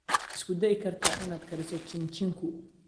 Ma isku dayi kartaa inaad kariso chin chinku?